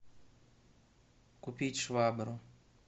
купить швабру